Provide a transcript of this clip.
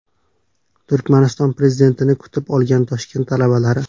Turkmaniston prezidentini kutib olgan Toshkent talabalari.